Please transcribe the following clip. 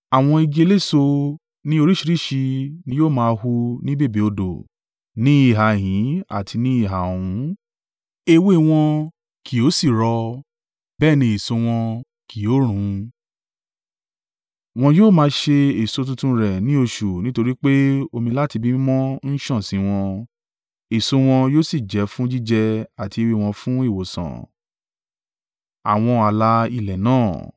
Àwọn igi eléso ní oríṣìíríṣìí ni yóò máa hù ní bèbè odò ní ìhà ìhín àti ní ìhà ọ̀hún. Ewé wọn kì yóò sì rọ, bẹ́ẹ̀ ní èso wọn kì yóò run, wọn yóò máa ṣe èso tuntun rẹ̀ ní oṣù nítorí pé omi láti ibi mímọ́ ń sàn sí wọn. Èso wọn yóò sì jẹ́ fún jíjẹ àti ewé wọn fún ìwòsàn.”